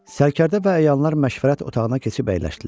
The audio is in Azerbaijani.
Sərkərdə və əyanlar məşvərət otağına keçib əyləşdilər.